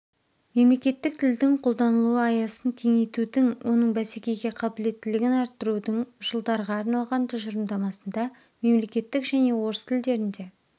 мемлекеттік тілдің қолданылу аясын кеңейтудің оның бәсекеге қабілеттілігін арттырудың жылдарға арналған тұжырымдамасында мемлекеттік және орыс тілдерінде